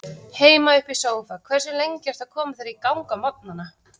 Heima upp í sófa Hversu lengi ertu að koma þér í gang á morgnanna?